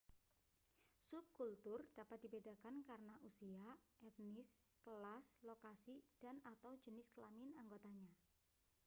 subkultur dapat dibedakan karena usia etnis kelas lokasi dan/atau jenis kelamin anggotanya